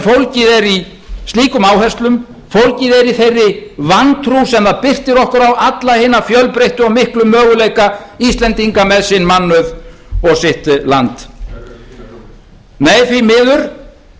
fólgið er í slíkum áherslu fólgið er í þeirri vantrú sem birtir okkur alla hina fjölbreyttu og miklu möguleika íslendinga með sinn mannauð og sitt land hvar eru þínar hugmyndir nei því miður